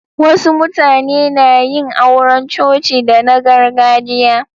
Wasu mutane na yin auran coci da na gargajiya.